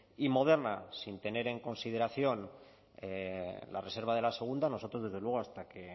y moderna sin tener en consideración la reserva de la segunda nosotros desde luego hasta que